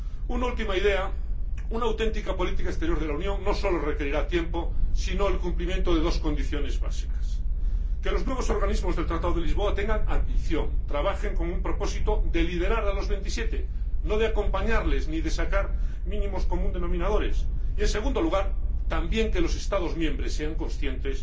Una última idea una auténtica política exterior de la Unión no solo requerirá tiempo sino también el cumplimiento de dos condiciones básicas, a saber, que los nuevos organismos del Tratado de Lisboa tengan ambición, trabajen con un propósito de liderar a los 27, no de acompañarles, ni de sacar denominadores comunes mínimos, y, en segundo lugar, también que los Estados miembros sean conscientes